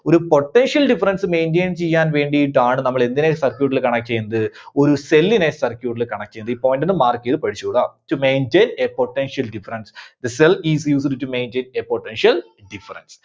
ഒരു potential difference maintain ചെയ്യാൻ വേണ്ടിയിട്ടാണ് നമ്മള് എന്തിനെ circuit ല് connect ചെയ്യുന്നത്? ഒരു cell നെ circuit ല് connect ചെയ്യുന്നത്. ഈ point ഒന്ന് mark ചെയ്ത് പഠിച്ചോളുക. To maintain a potential difference, The cell is used to maintain a potential difference.